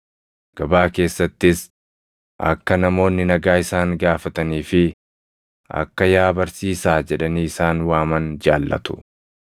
Gabaa keessattis akka namoonni nagaa isaan gaafatanii fi akka ‘Yaa barsiisaa’ jedhanii isaan waaman jaallatu.